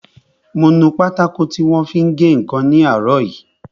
Mo nu pátákò tí wọ́n fi ń gé ǹkan ní àárọ̀ yìí